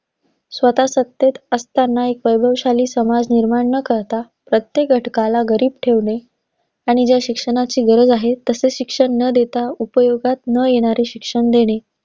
स्वतः सत्तेत असतांना, एक वैभवशाली समाज निर्माण न करता, प्रत्येक घटकाला गरीब ठेवणे. आणि ज्या शिक्षणाची गरज आहे, तसं शिक्षण न देता, उपयोगात न येणारे शिक्षण देणे.